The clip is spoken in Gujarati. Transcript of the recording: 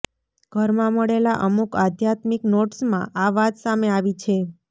ઘરમાં મળેલા અમુક આધ્યાત્મિક નોટ્સમાં આ વાત સામે આવી છે